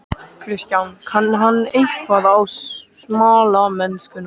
Kristján: Kann hann eitthvað á smalamennskuna?